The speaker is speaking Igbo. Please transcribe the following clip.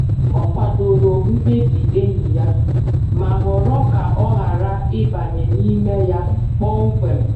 Ọ kwadoro mkpebi enyi ya, ma họrọ ka ọ ghara ịbanye n’ime ya kpọmkwem.